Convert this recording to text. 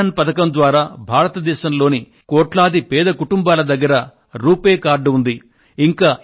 జన్ ధన్ పథకం ద్వారా భారతదేశంలోని కోట్లాది పేద కుటుంబాల దగ్గర రూపే కార్డులు ఉన్నాయి